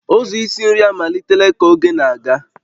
Ụzọ isi nri amalitela ka oge na-aga